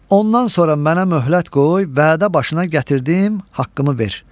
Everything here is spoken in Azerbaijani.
Ondan sonra mənə möhlət qoy, vədə başına gətirdim, haqqımı ver.